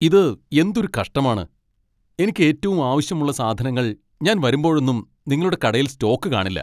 ഇത് എന്തൊരു കഷ്ടമാണ്, എനിക്ക് ഏറ്റവും ആവശ്യമുള്ള സാധനങ്ങൾ ഞാൻ വരുമ്പോഴോന്നും നിങ്ങളുടെ കടയിൽ സ്റ്റോക്ക് കാണില്ല.